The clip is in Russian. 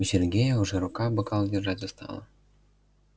у сергея уже рука бокал держать устала